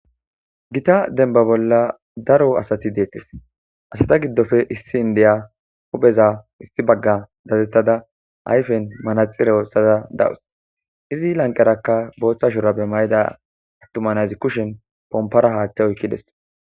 Gita denba bolla daro asati deettes asata giddofe issi indeya hupheza issi bagga dazettada ayfen manaxira osaza dawus izi lanqarakka booththa shura be mayida attumanazi kushen pompara haaththe oykkideso.